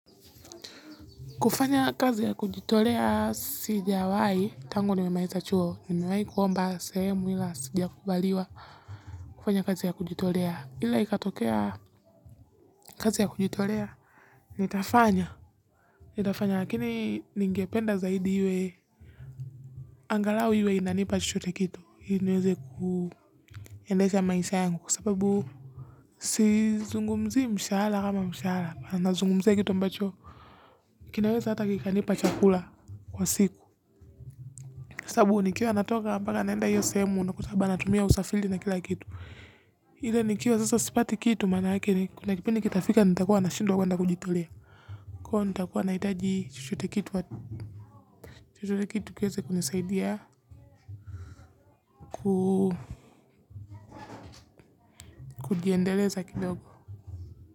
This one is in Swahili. Kufanya kazi ya kujitolea sijawahi tangu nimemaliza chuo niwahi kuomba sehemu ila sijakubaliwa kufanya kazi ya kujitolea ila ikatokea kazi ya kujitolea. Nitafanya nitafanya lakini ningependa zaidi iwe angalau iwe inanipa chochote kitu ili niweze kuendesha maisha yangu kwa sababu sizungumzii mshahara kama mshahara nazungumzia kitu ambacho kinaweza hata kikanipa chakula. Kwa siku sababu nikiwa natoka mpaka naenda iyo sehemu unakuta labda natumia usafiri na kila kitu. Ile nikiwa sasa sipati kitu maana yake ni kuna kipindi kitafika nitakuwa nashindwa kwenda kujitolea. Kwaiyo nitakuwa nahitaji chochote kitu. Chochote kitu kiweze kunisaidia kujiendeleza kidogo.